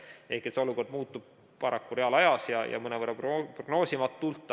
Ehk olukord muutub paraku reaalajas ja mõnevõrra prognoosimatult.